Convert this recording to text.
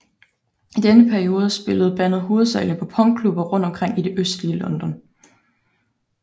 I denne periode spillede bandet hovedsagelig på punkklubber rundt omkring i det østlige London